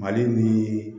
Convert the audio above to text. Mali mini